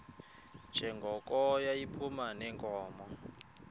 njengoko yayiphuma neenkomo